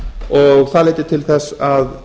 og það leiddi til þess að